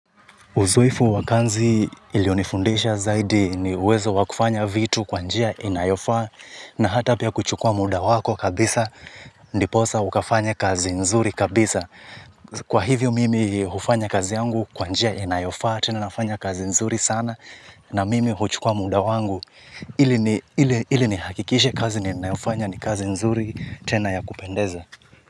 Uzoefu wa kazi ilionifundisha zaidi ni uwezo wa kufanya vitu kwa njia inayofaa na hata pia kuchukua muda wako kabisa ndiposa ukafanya kazi nzuri kabisa. Kwa hivyo mimi hufanya kazi yangu kwa njia inayoaa, tena nafanya kazi nzuri sana na mimi huchukua muda wangu. Ili nihakikishe kazi ninayofanya ni kazi nzuri tena ya kupendeza.